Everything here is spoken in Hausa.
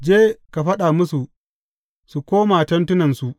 Je, ka faɗa musu su koma tentunansu.